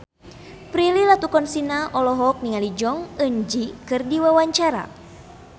Prilly Latuconsina olohok ningali Jong Eun Ji keur diwawancara